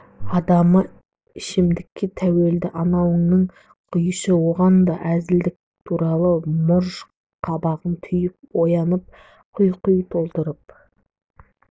адамы ішімдікке тәуелді анауыңнан құйшы одан да әзілқой турашыл морж-қабағын түйіп оянатын құй-құй толтырып